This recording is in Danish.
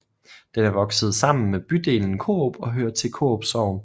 Den er vokset sammen med bydelen Korup og hører til Korup Sogn